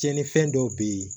Cɛnnifɛn dɔw bɛ ye